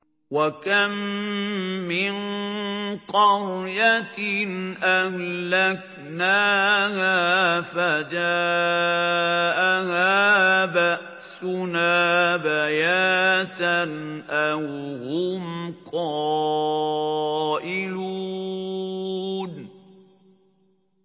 وَكَم مِّن قَرْيَةٍ أَهْلَكْنَاهَا فَجَاءَهَا بَأْسُنَا بَيَاتًا أَوْ هُمْ قَائِلُونَ